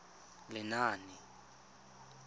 lenaane